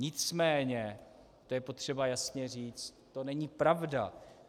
Nicméně, to je potřeba jasně říct, to není pravda.